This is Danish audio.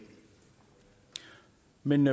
men